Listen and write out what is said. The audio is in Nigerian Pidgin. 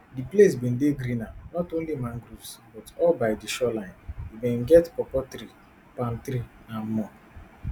di place bin dey greener not only mangroves but all by di shoreline e bin get pawpaw trees palm trees and more